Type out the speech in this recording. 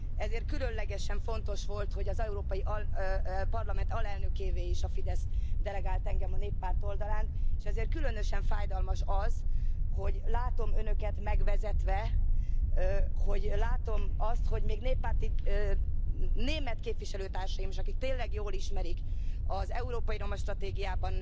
Ezért különlegesen fontos volt, hogy az Európai Parlament alelnökévé is a Fidesz delegált engem a Néppárt oldalán. És ezért különösen fájdalmas az, hogy látom Önöket megvezetve, még néppárti német képviselőtársaimat is, akik tényleg jól ismerik az európai roma stratégiában